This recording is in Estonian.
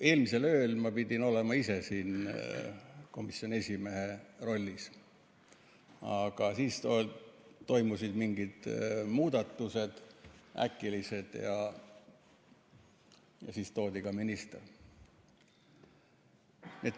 Eelmisel ööl ma pidin olema ise siin komisjoni esimehe rollis, aga siis toimusid mingid äkilised muudatused ja siis toodi siia ka minister.